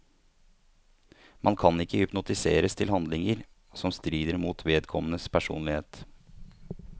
Man kan ikke hypnotiseres til handlinger som strider mot vedkommendes personlighet.